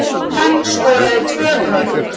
Hann skoraði tvö mörk